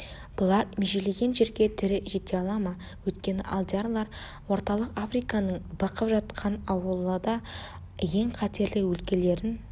бұлар межелеген жерге тірі жете ала ма өйткені алдиярлар орталық африканың бықып жатқан аурулы да ең қатерлі өлкелерін